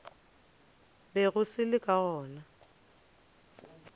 bego se le ka gona